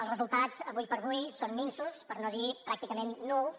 els resultats avui per avui són minsos per no dir pràcticament nuls